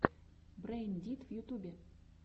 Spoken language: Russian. брэйн дит в ютьюбе